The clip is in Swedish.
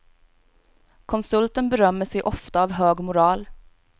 Konsulten berömmer sig ofta av hög moral.